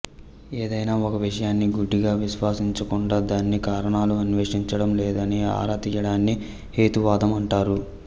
ఏదైనా ఒక విషయాన్ని గుడ్డిగా విశ్వసించకుండా దానికి కారణాలను అన్వేషించడం లేదా ఆరా తీయడాన్ని హేతువాదం అంటారు